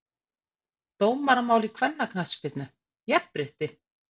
Dómaramál í kvennaknattspyrnu- jafnrétti?!